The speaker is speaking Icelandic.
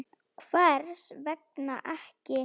Hvers vegna ekki?